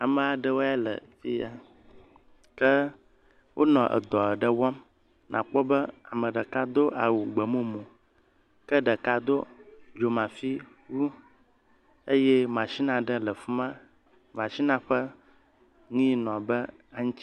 Amaa ɖewo ya le fi ya. Ke wonɔ edɔ aɖe wɔm nàkpɔ be ame ɖeka do awu gbemumu. Ɖeka do dzomafi wu. Eye mashini aɖe le fi ma. Mashinia ƒe nu ya ɖe nɔ ane aŋutsi.